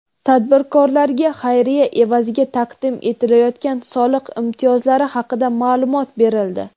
Tadbirkorlarga xayriya evaziga taqdim etilayotgan soliq imtiyozlari haqida ma’lumot berildi.